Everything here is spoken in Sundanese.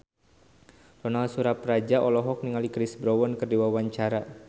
Ronal Surapradja olohok ningali Chris Brown keur diwawancara